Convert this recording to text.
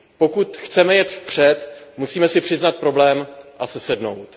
Pokud chceme jet v před, musíme si přiznat problém a sesednout.